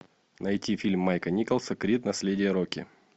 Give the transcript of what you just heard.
найти фильм майка николса крид наследие рокки